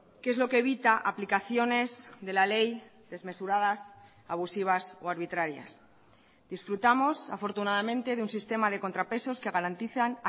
que es lo que evita aplicaciones de la ley desmesuradas abusivas o arbitrarias disfrutamos afortunadamente de un sistema de contrapesos que garantizan